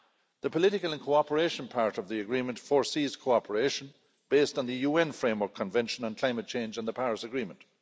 The political and cooperation' part of the agreement foresees cooperation based on the UN Framework Convention on climate change and the Paris Agreement.